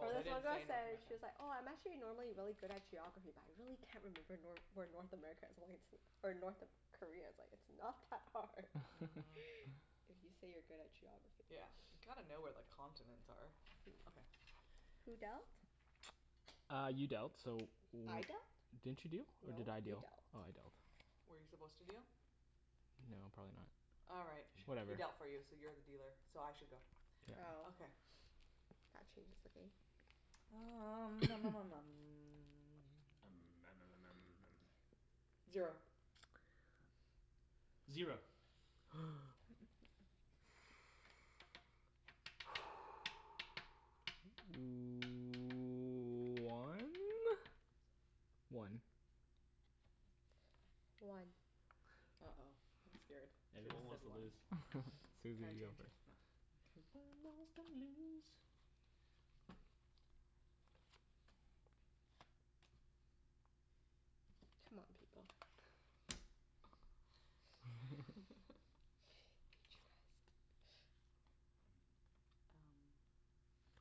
Or this one girl said she's like, "Oh I'm actually normally really good at geography but I really can't remember Nor- where North America is or it's, North Korea is." Like it's not that hard If you say you're good at geography Yeah. You gotta know where the continents are. Okay. Who dealt? Uh, you dealt so I dealt? w- Didn't you deal? Or did No, I you deal dealt Oh I dealt. Were you supposed to deal? No probably not. Alright He Whatever dealt for you so you're the dealer, so I should go. Oh Okay. That changes the game. Um Zero Zero One? One One Uh oh, I'm scared. Everyone wants to lose. Susie, you go first. C'mon, people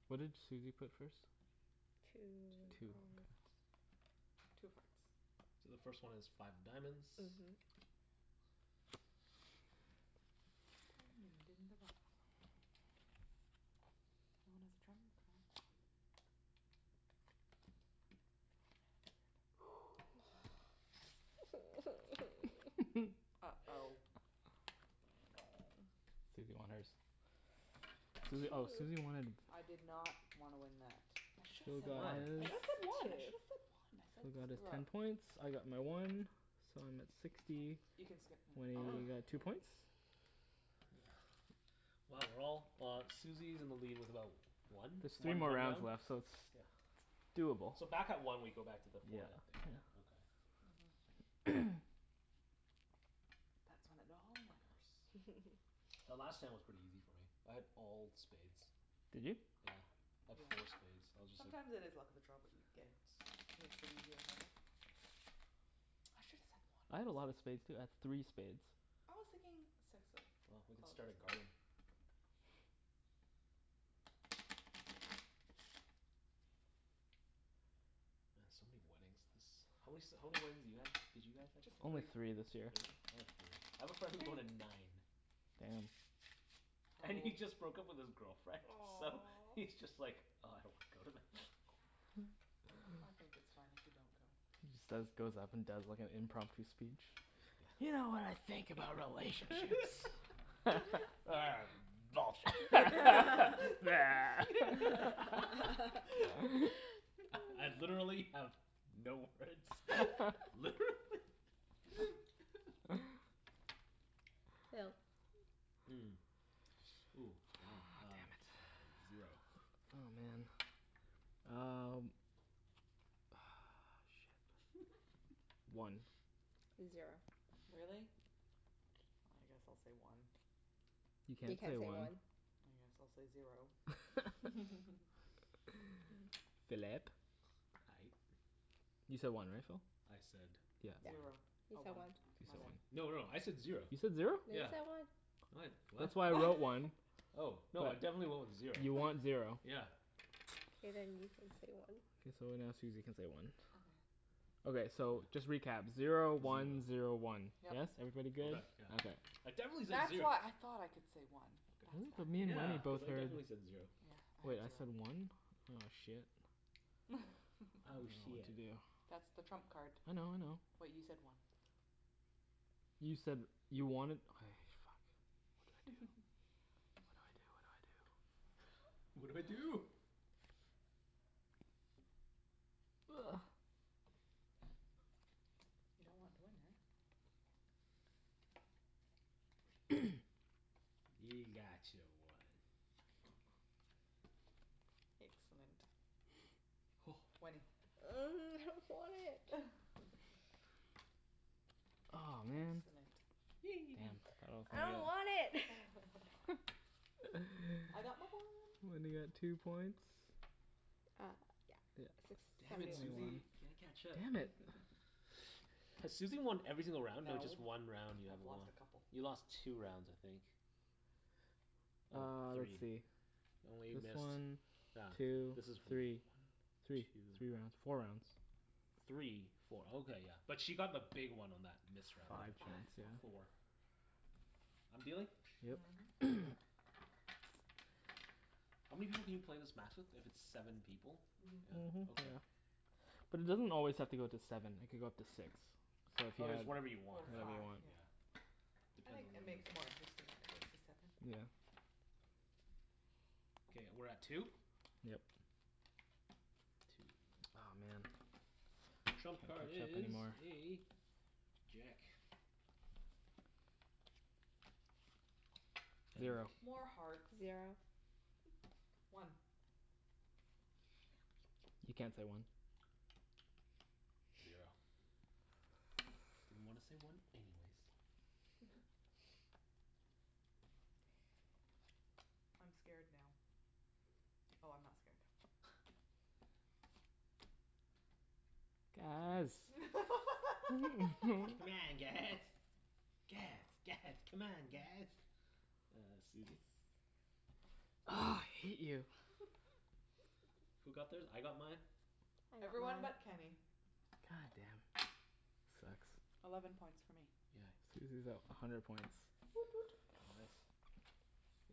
What did Susie put first? Two Two, okay. Two hearts So the first one is five of diamonds. Mhm. Uh oh Susie won hers. Susie oh Susie wanted I did not wanna win that. Should've Phil said got one, I his should've said one, I should've said one, I said- Phil got his screwed ten up points, I got my one, so I'm at sixty, Wenny got two points Wow, we're all, uh Susie's in the lead with about one, There's three one more more rounds round? left so it's Yeah Doable So back at one we go back to the forehead thing, Yeah right? Okay. The last time was pretty easy for me, I had all spades. Did you? Yeah. I had four spades so I was just Sometimes it like is the luck of the draw, what you get. I should've said I had a lot one. of spades too. I had three spades I was thinking six Well, we of can clubs. start a garden. Man, so many weddings this, how many s- how many weddings did you have, did you guys have to Only three this year I had three. I have a friend who went to nine. Damn And he just broke up with his girlfriend so Aw he's just like, ugh, I don't want to go to them. I think it's fine if you don't go. Instead he just goes up and does like a impromptu speech. You know what I think about relationships Bullshit I, I've literally have no words, literally Phil Mm, ooh wow uh Oh, damn it Zero Oh man, um, ugh shit. One Zero Really? I guess I'll say one You You can't can't say say one. one. I guess I'll say zero Phillip? Aye You said one right, Phil? I said Yep Zero. He Oh said one one He said No, one no, I said zero. You said zero? No, you Yeah. said one. No I d- what? That's why I wrote one Oh no, I definitely went with zero. You want zero. Yeah. Okay, then you can say one. K, so now Susie can say one Okay so just recap, zero one zero one. Yes? Everybody good? Right, yeah. Okay. I Ooh, definitely said that's zer- why I thought I could say one, that's Really? why. But me and Yeah. Wenny Cuz both I heard definitely said zero. Wait I said one? Oh shit. I Oh shiet. dunno what That's to do. the trump card. I know I know. Wait you said one You said you wanted, okay, fuck. What do I do. What do I do, what do I do. What do I do. Ugh You don't want to win eh? You got your one. Excellent. Wenny. Ugh, I don't want it! Aw man! Excellent I don't want it! I got my one. Wenny got two points. Uh yeah. Six, Damn seventy it, one, yeah. Susie, can't catch up. Damn it Has Susie won every single round or No just one round you have I've won. lost a couple You lost two rounds, I think. No, Uh, let's three. see. This one, two, three. Three, three rounds. Four rounds. Three, four, oh okay yeah. But she got the big one on that missed round though. Five She got points, yeah. four. I'm dealing? Yep Mhm How many people can you play this match with if it's seven people? Mhm. Yeah, okay. But it doesn't always have to go to seven. It could go up to six. Oh it's whatever you want, Or Whatever you five right? want yeah. I think that makes it more interesting Yeah Okay, we're at two? Yep. Aw man, Trump can't card catch up is anymore a jack. Zero More hearts Zero One You can't say one. Zero Didn't wanna say one anyways. I'm scared now. Oh I'm not scared. Guys C'mon guys, guys, guys, c'mon, guys! Uh Susie Ugh, I hate you Who got theirs? I got mine. I got Everyone mine. but Kenny. God damn. Sucks Eleven points for me Yeah Susie's at a hundred points. Woot woot Oh nice.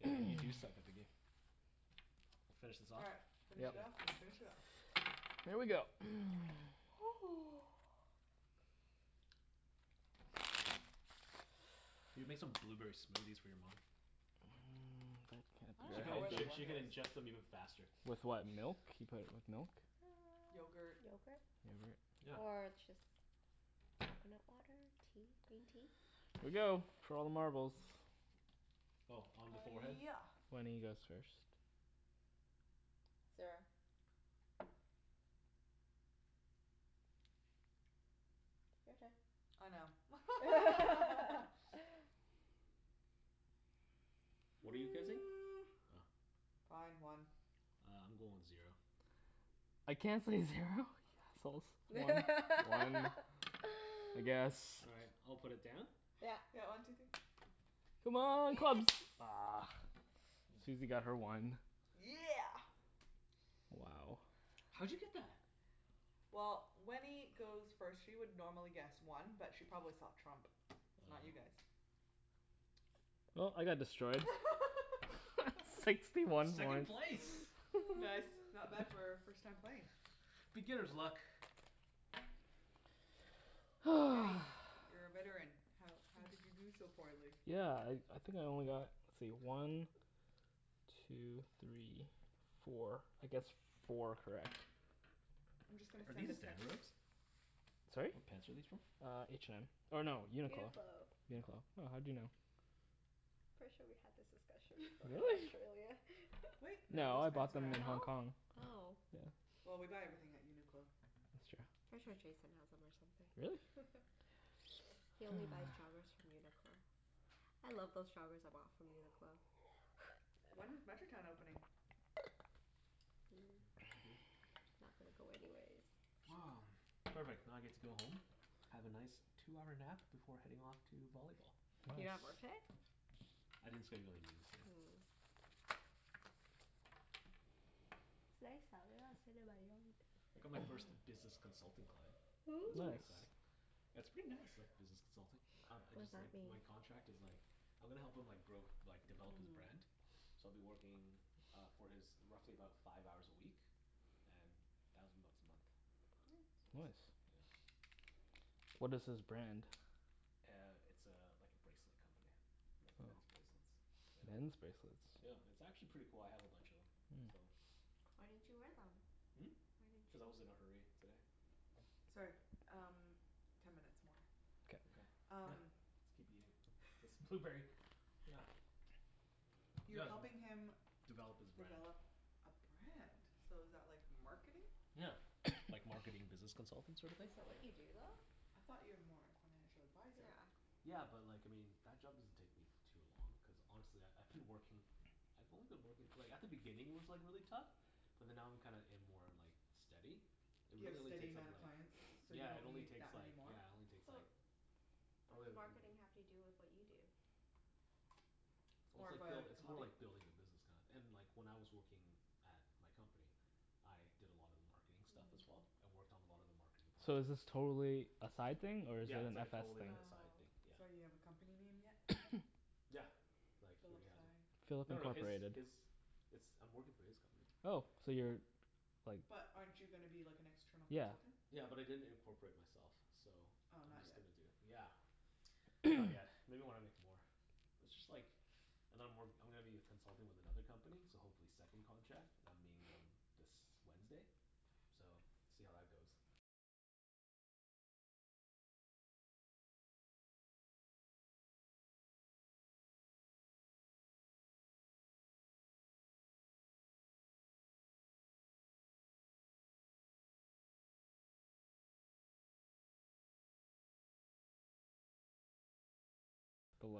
Yeah, you do suck at the game. Finish this All off? right, finish Yep it off and finish it off. Here we go You can make some blueberry smoothies for your mom. She can inge- she can ingest them even faster. With what, milk? You put, with milk? Yogurt Yogurt Yogurt? Yeah. Or just coconut water, tea, green tea. Here we go, for all the marbles Oh, on the forehead? Yeah Wenny goes first. Zero. Your turn I know. What are you guessing? Fine, one Uh I'm going with zero. I can't say zero? You assholes One. One? I guess. All right, I'll put it down. Yeah Yeah, one two three C'mon, clubs! Ugh, Susie got her one. Yeah! Wow How'd you get that? Well, Wenny goes first. She would normally guess one but she probably saw trump so not you guys. Well, I got destroyed. Sixty one Second one place! Nice, not bad for first time playing Beginner's luck. Kenny, you're a veteran, how how did you do so poorly? Yeah, I I think I only got, let's see, one two three four, I guessed four correct. I'm just gonna Are send these? a text. Sorry? What pants are these from? Uh H&M, or no, UNIQLO UNIQLO UNIQLO. Oh, how'd you know? Pretty sure we had this discussion before in Really? Australia. Wait No, I bought them in Hong Kong. Oh? Oh. Yeah Well, we buy everything at UNIQLO. That's true. Pretty sure Jason has'em or something Really? He only buys joggers from UNIQLO. I love those joggers I bought from UNIQLO. When is Metrotown opening? Not gonna go anyways. Perfect, now I get to go home, have a nice two-hour nap before heading off to volleyball. You don't have work Nice today? I didn't schedule anything in today. Mm It's nice out. Maybe I'll sit in my yard. I got my first business consultant client. That's Ooh. pretty exciting. Nice That's pretty nice like business consulting. Um I What does just like, that mean? my contract is like, I'm gonna help him like, grow, like develop his brand, so I'll be working uh for his, roughly about five hours a week and thousand bucks a month. Yeah. Nice. What is his brand? Uh it's a, like a bracelet company, like men's bracelets. Men's bracelets Yeah. It's actually pretty cool. I have a bunch of'em so. Why didn't you wear them? Hmm? Why didn't you Cuz I was in wear a hurry today. them? Sorry, um ten minutes more. Okay Yep, Um let's keep eating this blueberry, yeah. You're helping him Develop his brand Develop a brand? So is that like marketing? Yeah, like marketing business consultant sort of thing? Is that what you do I though? thought you are more like financial advisor. Yeah. Yeah, but like, I mean that job doesn't take me too long cuz honestly I I I've been working, I've only been working like at the beginning it was like really tough, but then now I'm kinda in more like steady It You have really only steady takes up amount of like, clients? So you yeah it don't only need that takes many like, more? yeah it only takes like But what probably does marketing have to do with what you do? Well, it's like buil- it's more like building a business kinda and like when I was working at my company, I did a lot of marketing stuff as well, I worked on a lot of the marketing So is projects. this totally a side thing or is it Yeah, it's an like a FS totally, thing? like a side thing, Oh. yeah. So you have a company name yet? Yeah, like he already has it. Philip No no, his, Incorporated. his, it's, I'm working for his company. Oh, so you're like But aren't you gonna be like an external Yeah consultant? Yeah, but I didn't incorporate myself, so Oh I'm not just yet gonna do, yeah. Not yet. Maybe when I make more. But it's just like and I'm work, I'm gonna be a consultant with another company so hopefully second contract, and I'm meeting them this Wednesday so, see how that goes.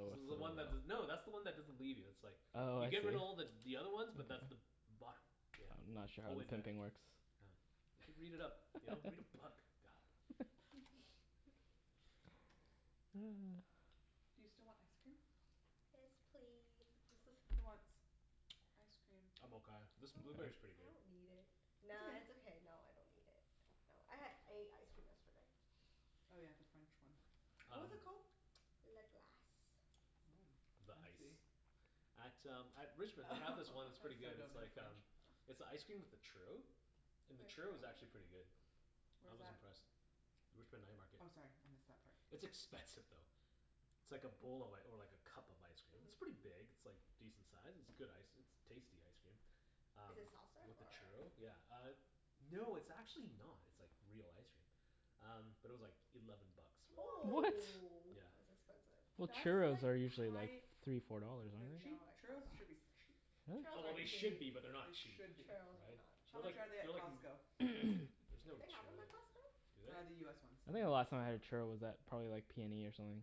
This is the one that's the, no, that's the one that doesn't leave you it's like Oh You I see. giver her to all the the other ones but that's the bottom, yeah, I'm not sure how always there. pimping works. Oh, you should read it up. You know, read a book, god. You still want ice cream? Yes, please Who wants ice cream? I'm I don't, okay. This blueberry's pretty I good. don't need it. Nah, it's It's okay. okay. No, I don't need it. No, I had, ate ice cream yesterday. Oh yeah the French one. What was it called? Le Glace The I ice see. At um at Richmond they have this one that's pretty good. It's like um, it's an icecream with a churro, and the churro was actually pretty good. I Where's was that? impressed. Richmond night market. Oh sorry, I missed that part. It's expensive though. It's like a bowl of like, or like a cup of ice cream, it's pretty big. It's like decent size. It's good ice, it's tasty ice cream, um Is it soft-serve with the or? churro, yeah, uh no, it's actually not. It's like real ice cream. Um, but it was like eleven bucks for What?! it. Whoa! Yeah That's expensive. Well, That's churros like are usually like high- three four dollars, They're aren't they? cheap. No they're not Churros should be cheap. that Oh well, they Really? should be but they're not They cheap. should be. Churros are not How cheap. They're like, much are they at they're like Costco? There's no Do they have'em churros at at, Costco? do Uh the US ones. they? I think the last time I had a churro was at probably like PNE or something.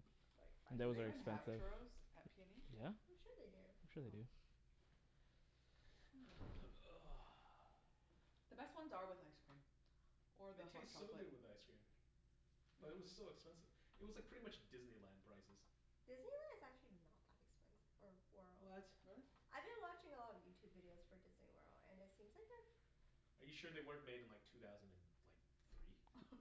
Do Those they were even have expensive. churros at PNE? I'm sure they do. I'm sure they do. The best ones are with ice cream or the It hot tastes so chocolate. good with ice cream. But it was so expensive. It was like pretty much Disneyland prices. Disneyland is actually not that expensive or What? Really? I've been watching a lot of Youtube videos for Disney World and it seems like a Are you sure they weren't made in like two thousand and like three?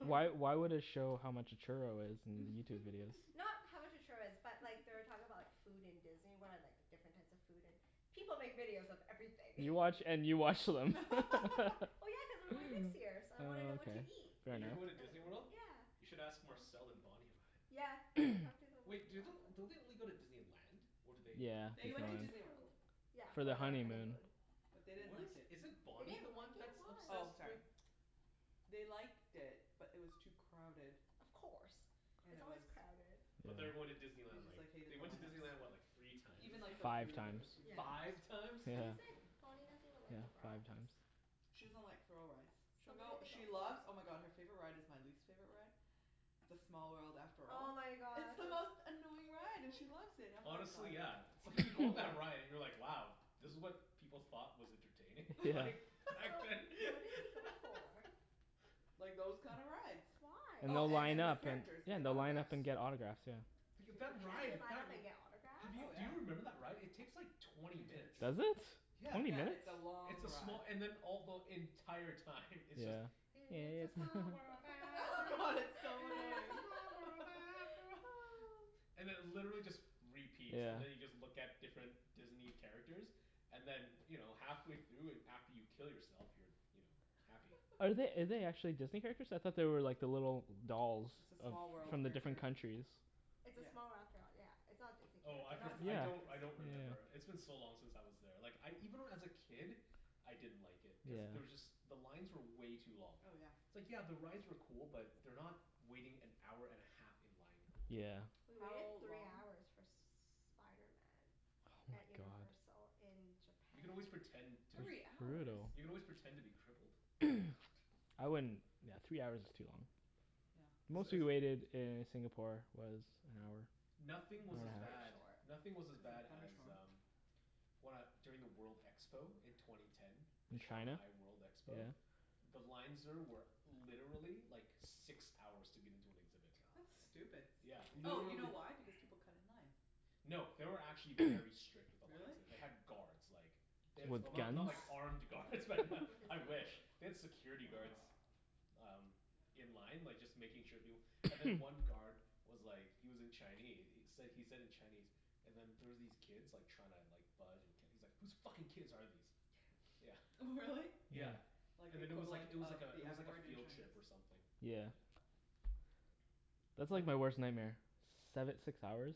Why why would it show how much a churro is in Youtube videos? Not how much a churro is but like they were talking about like food in Disney World and like different types of food and, people make videos of everything You watch and you watch them. Well, yeah, cuz I'm going next year so I Oh wanna know what to okay, eat fair Wait, enough you're going to Disney World? You Yeah should ask Marcel and Bonny about it. Yeah, I've talked to them Wait, do lots of the- don't they only go to Disneyland? Or do they Yeah, They They Disney went to went Land. Disney to, World. yeah For their For their honeymoon. honeymoon. But they didn't What is, like it is it They Bonny the didn't like one it, that's why? Oh obsessed sorry. with They liked it but it was too crowded Of course, it's always crowded But they are going to Disney They Land just like, like hated they the went to line up Disney so. Land, what, like, three times? Even like for Five food there was times huge line Five ups. times? Yeah. He's like, Bonny doesn't even like the rides. She doesn't like thrill rides. So She'll what go, did they go she for? loves, oh my god, her favorite ride is my least favorite ride, "It's a small world after Oh all." my It's god. the most annoying ride and she loves it. I'm like Honestly yeah, it's like you go on that ride and you're like wow, this was what people thought was entertaining? Like, back So then? what did they go for? Like those kinda rides. Why? And Oh they'll and line then the up and characters, you yeah, get and they'll line autographs. up and get autographs, yeah. That's it? Line up and get autographs? Oh Do yeah. you remember that ride? It takes like twenty minutes. Does it? Yeah, Twenty Yeah, minutes? it's a it's long a small, ride. and then all the, the entire time it's just, "It's a small world Oh after god, all, it's so it's a annoying. small world after all." And it literally just repeats. Yeah And then you just look at different Disney characters and then you know, halfway through and after you kill yourself you're, you know, happy. Are they, are they actually Disney characters? I thought they were like the little dolls. It's a Of, small world from the character. different countries It's a small world after all yeah, it's not Disney Oh I characters. for- I don't, I don't Yeah remember. It's been yeah yeah so long since I was there, like I even when I was a kid, I didn't like it. Cuz Yeah there was just, the lines were way too long. Oh yeah It's like yeah the rides were cool but they're not waiting-an-hour-and-a-half-in-line cool. Yeah We waited How three long hours for Spiderman Oh at my god Universal in You can always japan. pretend to be Three That's hours?! You can brutal. always pretend to be crippled. I wouldn't, yeah, three hours is too long. Yeah. Most we waited in Singapore was an hour. Nothing was as bad, nothing was as bad as um, when I, during the world expo in twenty ten. The In China? Shanghai World expo. Yeah The lines there were literally like six hours to get into an exhibit. That's God. stupid Yeah, Oh you know literally. why, because people cut in line. No, they were actually very strict with the lines Really? there. They had guards like They had, With Jason well went not to not guns? like that. armed guards but What? With his I wish. family They had security guards um in line like just making sure people, and then one guard was like he was in Chine- he said he said in Chinese and then there was these kids like trying to like bud- and he's like "Who's fucking kids are these," yeah. Really? Yeah, Like the and then it was like equivalent it was like of a the it was F like a word in field trip or Chinese something. Yeah That's like my worst nightmare, seve- six hours,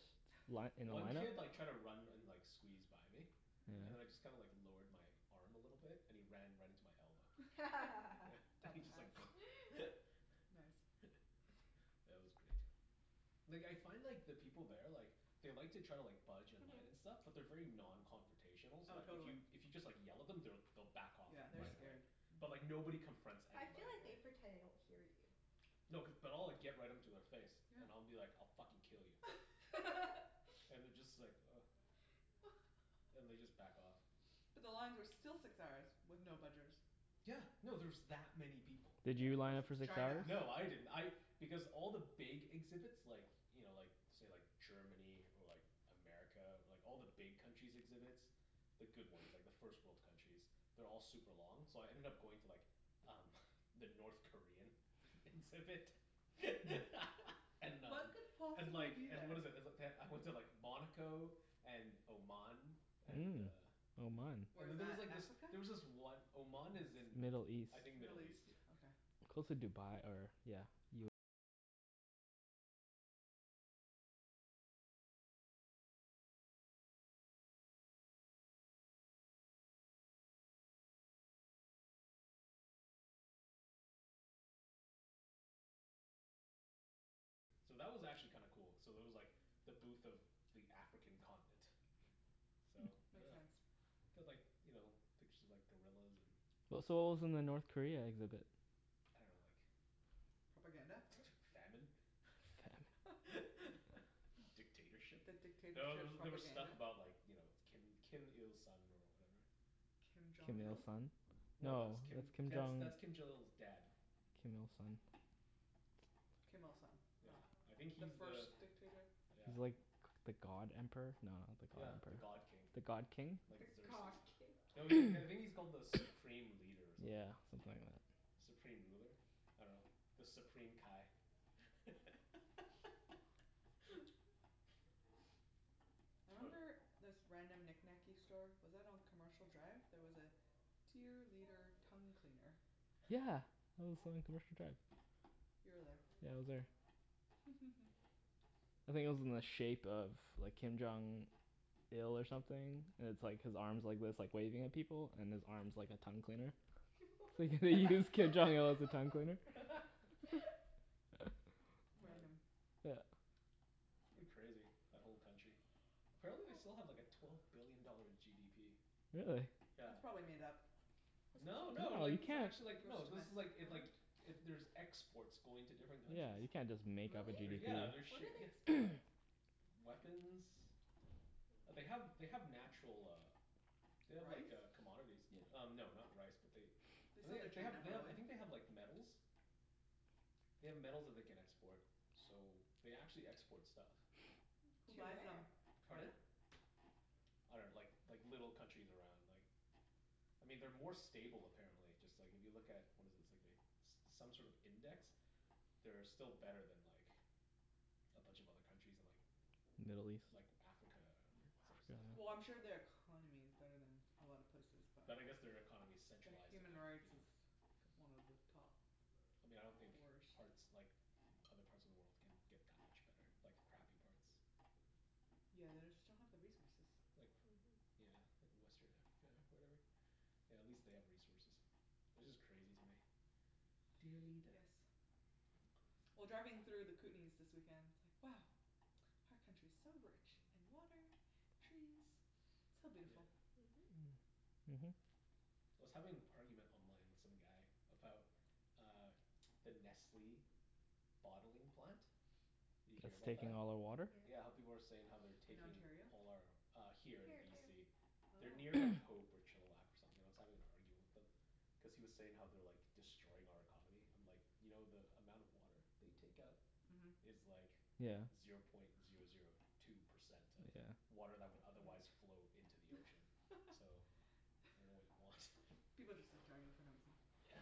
li- in a One line up kid like tried to run and and like squeeze by me, and I just kinda like lowered my arm a little bit and he ran right into my elbow. And he just like Dumbass Nice Yeah, that was great. Like I find like the people there like they like to try to like budge in line and stuff but they're very non-confrontational so Oh like if totally. you, if you just like yell at them they'll back off like Yeah. They're right away. scared. But like nobody confronts I feel anybody, like they right? pretend they don't hear you. No, cuz, but I'll like get right into their face Yeah and I'll be like, "I'll fucking kill you." And they just like ugh, and they just like back off. But the lines are still six hours with no budgers. Yeah, no, there's that many people. Did Yeah you of course line up for it's the crowd or China. something? No, I didn't, I, because all the big exhibits like you know, like say, like Germany or like America or like all the big countries' exhibits, the good ones, like the first world countries, they're all like super long so I ended up going to like um the North Korean exhibit and uh What could And possibly like, be and there? what is it, is it, they- I went to like Monaco and Oman. And Mm. uh Oman. Where's There's that, like this, Africa? there was this one, Oman is in Middle East I think Middle Middle East, East? yeah. Okay. So that was actually kinda cool. So there was like the booth of the African continent. So, Makes sense. They had like, you know, pictures of like gorillas and W- so what was in the North Korea exhibit? I dunno, like Propaganda? Famine? Dictatorship? The No, there dictatorship were there were stuff propaganda? about like you know, Kim Kim Il Sung or whatever. Kim Jong Kim Il Il? Sung? No, that's Kim, that's that's Kim Jong Il's dad. Kim Il Sung. Kim Il Sung. Yeah, No. I think The he's the first dictator? Yeah. He's like the god emperor? No, not the god Yeah, the emperor. god king. The god king? The god king? No, he, I think he's called the supreme leader or something Yeah. like that. Something like that. Supreme ruler? I dunno. The Supreme Kai. I remember this random knickknacky store, was that on Commercial Drive? There was a "Dear Leader Tongue Cleaner". Yeah, that was on Commercial Drive. You were there. Yeah, I was there. I think it was in the shape of like Kim Jong Il or something, and it's like his arms are like this, like waving at people and his arm's like a tongue cleaner. You use Kim Jong what? Il as a tongue cleaner. Amazing. Yeah It's pretty crazy, that whole country. Apparently they still have like a twelve billion dollar GDP. Really? Yeah. That's probably made up. No, No, no, like, you this is can't, actually like, no this is like, it like, it, there's exports going to different yeah, countries. you can't just make up a Really? They're, GDP. yeah, they're What do ship- they yeah export? Weapons, like they have, they have natural uh They have like Rice? uh commodities y- um no not rice but they, They I sell to think they, they China have, they have, I probably. think they have like metals. They have metals that they can export so they actually export stuff. Who To buys where? them? Pardon? I dunno, like like little countries around like, I mean they're more stable apparently, just like if you look at what is it, it's like they, some sort of index, they're still better than like a bunch of other countries in like Middle east? Like Africa, or some, stuff like Well I'm sure they are economy is better than a lot of places but But I guess their economy is Their centralized and human like, you rights know is one of the top I mean I don't think worst. parts, like other parts of the world can get that much better, like the crappy parts. Yeah, they just don't have the resources. Like, yeah like western Africa or whatever. Yeah, at least they have resources. It's just crazy to me. Dear leader Yes. Well, driving through the Kootenays this weekend, it's like, wow, our country's so rich in water, trees, so Yeah. beautiful. Mhm. I was having an argument online with some guy about uh the Nestle bottling plant. You hear It's about that? taking all their water? Yeah, how people are saying they're In taking Ontario? all our uh Here, in Here too. BC. They're Oh near like Hope or Chilliwack or something. I was having an argument with him. Cuz he was saying how they're like destroying our economy, I'm like, "You know the amount of water they take out" Mhm "Is like" Yeah "Zero point zero zero two percent of" Yeah "Water that would otherwise flow into the ocean." "So, I dunno what you want." People just like to argue for no reason. Yeah.